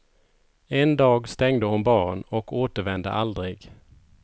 En dag stängde hon baren och återvände aldrig.